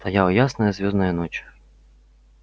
стояла ясная звёздная ночь